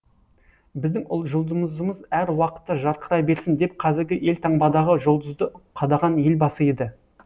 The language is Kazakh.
біздің жұлдызымыз әр уақытта жарқырай берсін деп қазіргі елтаңбадағы жұлдызды қадаған елбасы еді